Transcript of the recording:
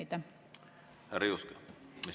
Härra Juske, mis mureks?